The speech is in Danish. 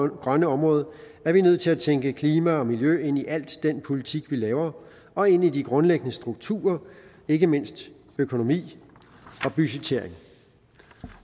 grønne område er vi nødt til at tænke klima og miljø ind i alt den politik vi laver og ind i de grundlæggende strukturer ikke mindst økonomi og budgettering